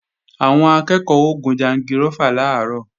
Àwọn akẹ́ẹ̀kọ́ ó gun jangirófà làárọ̀